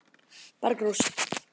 Bergrós